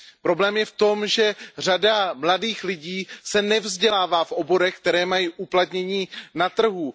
Problém je v tom, že řada mladých lidí se nevzdělává v oborech, které mají uplatnění na trhu.